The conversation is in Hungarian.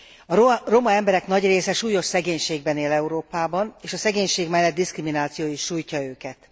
A roma emberek nagy része súlyos szegénységben él Európában és a szegénység mellet diszkrimináció is sújtja őket.